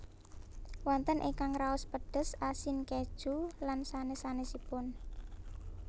Wonten ingkang raos pedes asin keju lan sanès sanèsipun